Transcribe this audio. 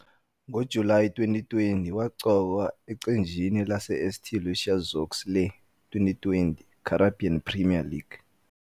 NgoJulayi 2020, waqokwa eqenjini laseSt Lucia Zouks le- 2020 Caribbean Premier League.